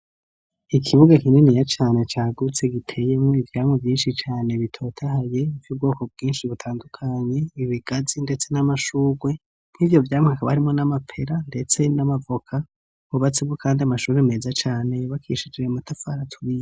Ikibuga kinini ya cane cagutse giteyemo ivyamu vyinshi cane bitotahaye ivy ubwoko bwinshi butandukanye ibigazi ndetse n'amashugwe nk'ivyo vyamwa barimo n'amapera ndetse n'amavoka bubatsi bwu kandi amashuri meza cane bakishire matafara aturiye.